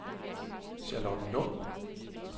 Charlottenlund